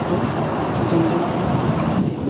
कोई जंगल को काट रहा है।